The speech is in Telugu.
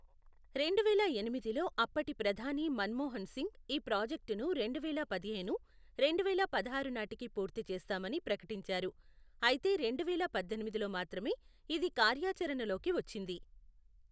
రెండువేల ఎనిమిదిలో అప్పటి ప్రధాని మన్మోహన్ సింగ్ ఈ ప్రాజెక్టును రెండువేల పదిహేను, రెండువేల పదహారు నాటికి పూర్తి చేస్తామని ప్రకటించారు, అయితే రెండువేల పద్దెనిమిదిలో మాత్రమే ఇది కార్యాచరణలోకి వచ్చింది.